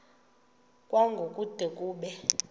kwango kude kube